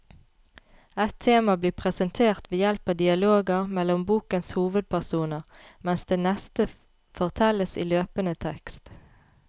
Ett tema blir presentert ved hjelp av dialoger mellom bokens hovedpersoner, mens det neste fortelles i løpende tekst.